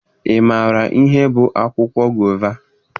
Ị maara ihe bụ akwụkwọ gova?